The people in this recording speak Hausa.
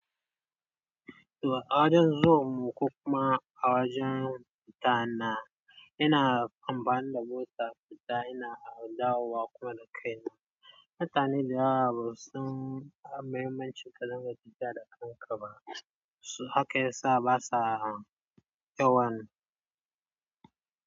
Awajan zuwan mu ko kuma awajan fita na ina amfani da mota fita ina dawo wa kuma da kai na. Mutane da yawa basu san mahimmancin kadinga tafiya da kankama, so haka ya sa basa yawanne.